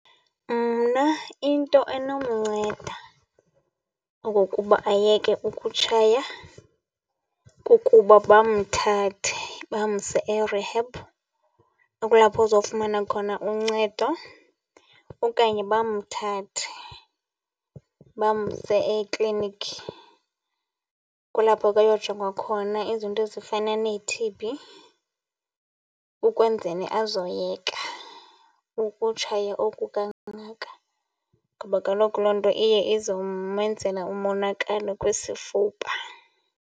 Mna into enomnceda okokuba ayeke ukutshaya kukuba bamthathe bamse e-rehab, kulapho azofumana khona uncedo. Okanye bamthathe bamse eklinikhi, kulapho ke ayojongwa khona izinto ezifana nee-T_B ukwenzeni azoyeka ukutshaya oku kangaka. Ngoba kaloku loo nto iye izomenzela umonakalo kwisifuba.